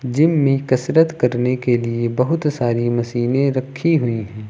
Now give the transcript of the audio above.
Gym में कसरत करने के लिए बहुत सारी मशीनें रखी हुई हैं।